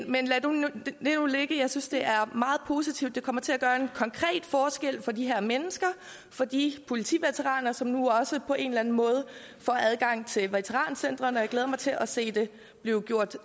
nu ligge jeg synes det er meget positivt det kommer til at gøre en konkret forskel for de her mennesker for de politiveteraner som nu også på en eller anden måde får adgang til veterancentret og jeg glæder mig til at se det blive gjort